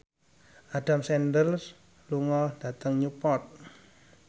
Adam Sandler lunga dhateng Newport